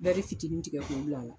fitiinin tigɛ k'o k'a la.